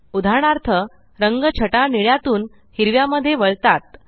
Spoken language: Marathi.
उदाहरणार्थ रंग छटा निळ्या तून हिरव्या मध्ये वळतात